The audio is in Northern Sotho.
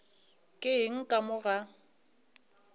ke eng ka mo ga